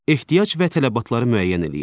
Ehtiyac və tələbatları müəyyən eləyin.